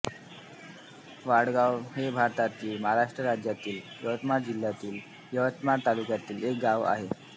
वाडगाव हे भारतातील महाराष्ट्र राज्यातील यवतमाळ जिल्ह्यातील यवतमाळ तालुक्यातील एक गाव आहे